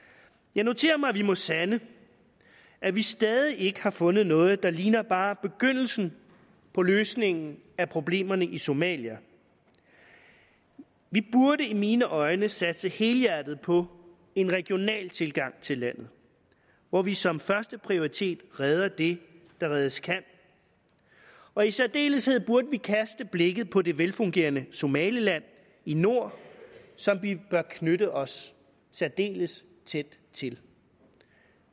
jeg noterer mig at vi må sande at vi stadig ikke har fundet noget der ligner bare begyndelsen på løsningen af problemerne i somalia vi burde i mine øjne satse helhjertet på en regional tilgang til landet hvor vi som første prioritet redder det der reddes kan og i særdeleshed burde vi kaste blikket på det velfungerende somaliland i nord som vi bør knytte os særdeles tæt til